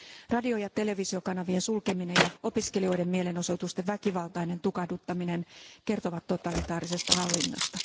Radio ja televisiokanavien sulkeminen ja opiskelijoiden mielenosoitusten väkivaltainen tukahduttaminen kertovat totalitaarisesta hallinnosta.